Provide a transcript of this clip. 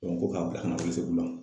ko k'a bila kana Welesekundan